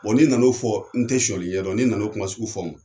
Bɔ n'i nana o fɔ n tɛ sɔnyali ɲɛdɔn ni nana o kuma sugu fɔ wo.